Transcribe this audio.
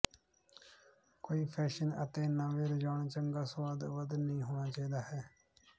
ਕੋਈ ਫੈਸ਼ਨ ਅਤੇ ਨਵ ਰੁਝਾਨ ਚੰਗਾ ਸੁਆਦ ਵੱਧ ਨਹੀ ਹੋਣਾ ਚਾਹੀਦਾ ਹੈ